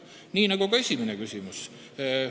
Nii on ka esimese ettepanekuga.